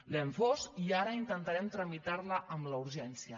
l’hem fos i ara intentarem tramitar la amb la urgència